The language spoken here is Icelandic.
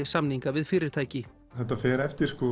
samninga við fyrirtæki þetta fer eftir